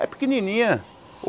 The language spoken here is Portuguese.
É pequenininha.